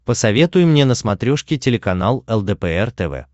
посоветуй мне на смотрешке телеканал лдпр тв